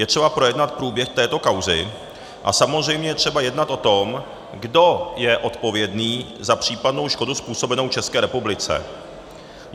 Je třeba projednat průběh této kauzy a samozřejmě je třeba jednat o tom, kdo je odpovědný za případnou škodu způsobenou České republice.